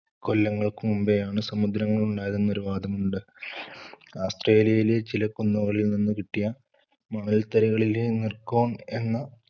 കൊല്ലങ്ങൾക്കു മുമ്പേയാണ് സമുദ്രങ്ങളുണ്ടായതെന്ന് ഒരു വാദമുണ്ട്. ആസ്ത്രേലിയയിലെ ചില കുന്നുകളിൽ നിന്നു കിട്ടിയ മണൽത്തരികളിലെ എന്ന